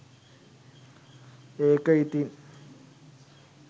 ඒක ඉතින්